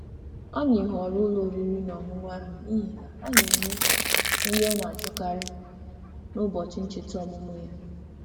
Anyị họọrọ ụlọ oriri na ọṅụṅụ ahụ n'ihi na ha na-enye nri ọ na-achọkarị n'ụbọchị ncheta ọmụmụ ya.